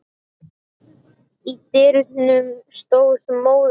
Í dyrunum stóð móðir hans.